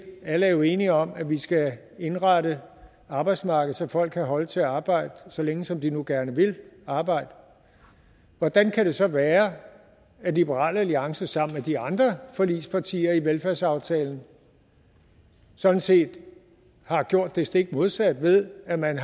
alle er jo enige om at vi skal indrette arbejdsmarkedet så folk kan holde til at arbejde så længe som de nu gerne vil arbejde hvordan kan det så være at liberal alliance sammen med de andre forligspartier i velfærdsaftalen sådan set har gjort det stik modsatte ved at man